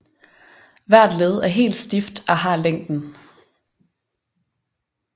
Hvert led er helt stift og har længden